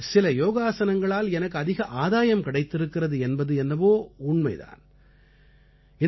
கண்டிப்பாக சில யோக ஆஸனங்களால் எனக்கு அதிக ஆதாயம் கிடைத்திருக்கிறது என்பது என்னவோ உண்மை தான்